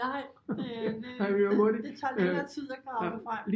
Nej det det tager længere tid at grave det frem